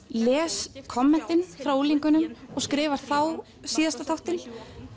les kommentin frá unglingunum og skrifar þá síðasta þáttinn